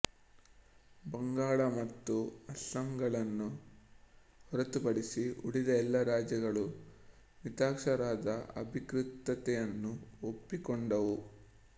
ಬಂಗಾಳ ಮತ್ತು ಅಸ್ಸಾಂಗಳನ್ನು ಹೊರತುಪಡಿಸಿ ಉಳಿದ ಎಲ್ಲ ರಾಜ್ಯಗಳೂ ಮಿತಾಕ್ಷರಾದ ಅಧಿಕೃತತೆಯನ್ನು ಒಪ್ಪಿಕೊಂಡವು